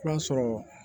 I b'a sɔrɔ